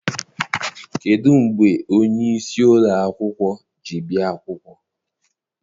Kedụ mgbe onyeisi ụlọakwụkwọ ji bịa akwụkwọ?